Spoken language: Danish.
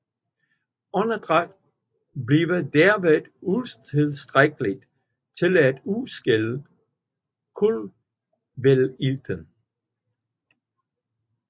Åndedrættet bliver derved utilstrækkeligt til at udskille kultveilten